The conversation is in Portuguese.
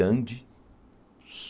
Dande.